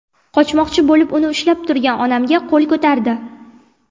Qochmoqchi bo‘lib, uni ushlab turgan onamga qo‘l ko‘tardi.